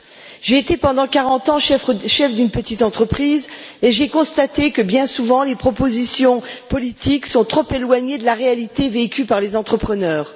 10. J'ai été pendant 40 ans chef d'une petite entreprise et j'ai constaté que bien souvent les propositions politiques sont trop éloignées de la réalité vécue par les entrepreneurs.